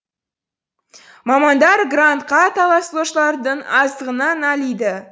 мамандар грантқа таласушылардың аздығына налиды